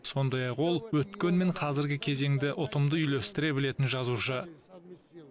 сондай ақ ол өткен мен қазіргі кезеңді ұтымды үйлестіре білетін жазушы